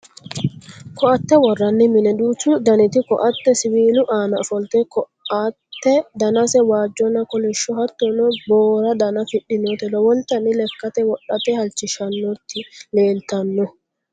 Koaatte worranni mine: Duuchu daniti koaatte Siwiilu aana ofolte Koaatte danase waajjonna kolishsho hattono boo'ra dana afidhinoti lowontanni Lekkate wodhate halchishshannoti leellitanno.